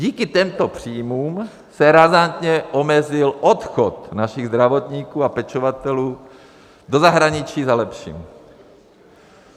Díky těmto příjmům se razantně omezil odchod našich zdravotníků a pečovatelů do zahraničí za lepším.